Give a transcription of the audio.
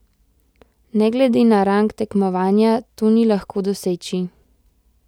Ne glede na rang tekmovanja to ni lahko doseči.